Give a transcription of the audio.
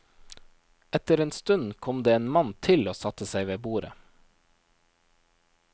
Etter en stund kom det en mann til og satte seg ved bordet.